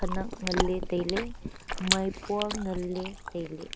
khenak ngaley tailey maipua nganley tailey.